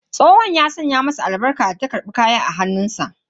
Tsohon ya saka mata albarka bayan ta karbi kaya daga hannun shi.